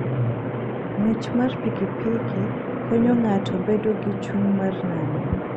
Ng'wech mar pikipiki konyo ng'ato bedo gi chuny mar nano.